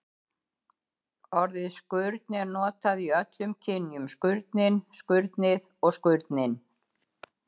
Orðið skurn er notað í öllum kynjum: skurnin, skurnið og skurninn.